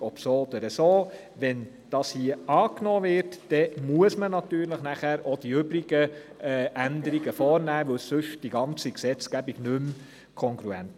Wird dieser Antrag angenommen, müssen dann natürlich auch die anderen Änderungen vorgenommen werden, denn sonst wäre die ganze Gesetzgebung nicht mehr kongruent.